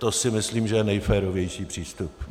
To si myslím, že je nejférovější přístup.